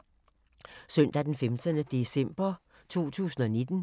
Søndag d. 15. december 2019